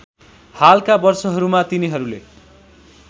हालका वर्षहरूमा तिनीहरूले